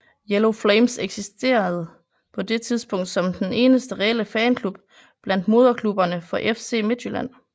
Yellow Flames eksisterede på det tidspunkt som den eneste reelle fanklub blandt moderklubberne for FC Midtjylland